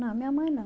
Não, minha mãe não.